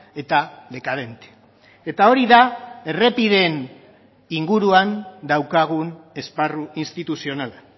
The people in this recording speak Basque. eta dekadente eta hori da errepideen inguruan daukagun esparru instituzionala